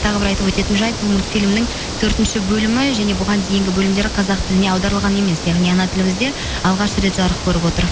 тағы бір айтып өтетін жайт бұл мульфильмнің төртінші бөлімі және бұған дейінгі бөлімдер қазақ тіліне аударылған емес яғни ана тілімізде алғаш рет жарық көріп отыр